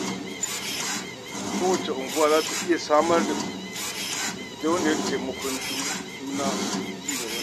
Kowace unguwa za ta iya samar da gidauniyar taimakon juna da cigabanta.